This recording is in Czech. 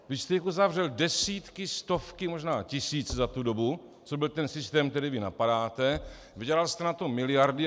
Vy jste jich uzavřel desítky, stovky, možná tisíc za tu dobu, co byl ten systém, který vy napadáte, vydělal jste na tom miliardy.